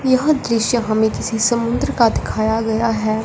यह दृश्य हमें किसी समुद्र का दिखाया गया है।